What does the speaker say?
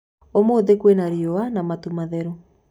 ũmũthĩ kwĩna riũa na matu matheru.